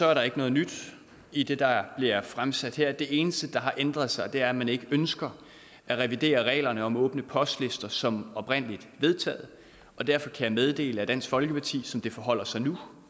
er der ikke noget nyt i det der bliver fremsat her det eneste der har ændret sig er at man ikke ønsker at revidere reglerne om åbne postlister som oprindelig vedtaget og derfor kan jeg meddele at dansk folkeparti som det forholder sig nu